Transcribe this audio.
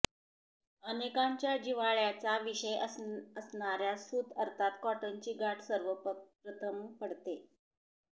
अनेकांच्या जिव्हाळ्याचा विषय असणाऱ्या सूत अर्थात कॉटनची गाठ सर्वप्रथम पडते